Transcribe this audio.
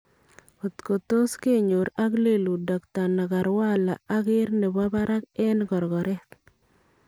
kotko tos kenyoor ak leluut Dokta Nagarwala a ker nebo barak en korkoret .